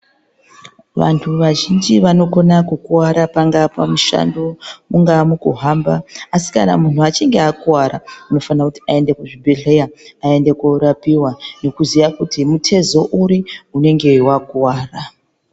Vantu vazhinji vanokona kukurwara pangaa pamushando, ungaa mukahamba asi kana munhu achinge akuwara, anofana kuti aende kuchibhedhleya aende korapiwa, nekuziya kuti muthezo uri ,unenge wakuwara.